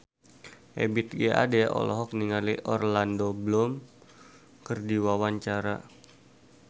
Ebith G. Ade olohok ningali Orlando Bloom keur diwawancara